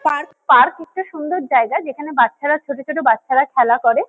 Park. Park একটা সুন্দর জায়গা যেখানে বাচ্চারা ছোট ছোট বাচ্চারা খেলা করে।